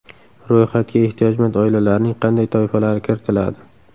Ro‘yxatga ehtiyojmand oilalarning qanday toifalari kiritiladi?